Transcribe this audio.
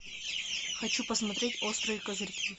хочу посмотреть острые козырьки